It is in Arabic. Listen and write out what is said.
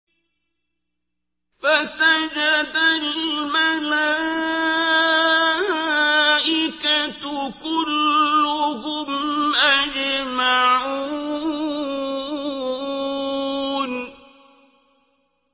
فَسَجَدَ الْمَلَائِكَةُ كُلُّهُمْ أَجْمَعُونَ